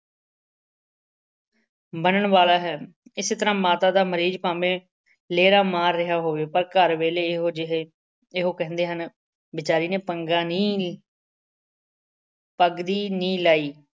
ਬਣਨ ਵਾਲਾ ਹੈ। ਇਸੇ ਤਰ੍ਹਾਂ ਮਾਤਾ ਦਾ ਮਰੀਜ਼ ਭਾਵੇਂ ਲੇਰਾਂ ਮਾਰ ਰਿਹਾ ਹੋਵੇ, ਪਰ ਘਰ ਵਾਲੇ ਇਹੋ ਜਿਹੇ ਇਹੋ ਕਹਿੰਦੇ ਹਨ ਬੇਚਾਰੇ ਨੇ ਪੰਗਾ ਨਹੀਂ ਪੱਗੜੀ ਨਹੀਂ ਲਾਈ।